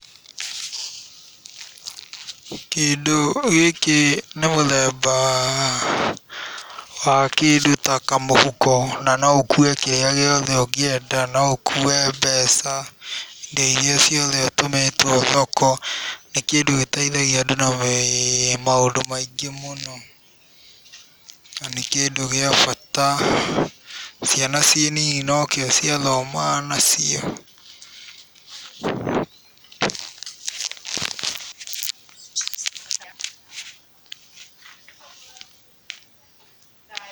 Kĩndũ gĩkĩ nĩ mũthemba wa kĩndũ ta kamũhuko na no ũkuue kĩrĩa gĩothe ũngĩenda, no ũkuue mbeca, indo irĩa ciothe ũtũmĩtwo thoko, nĩ kĩndũ gĩteithagia andũ na maũndũ maingĩ mũno na nĩ kĩndũ gĩa bata. Ciana ciĩ nini no kĩo ciathomaga nacio.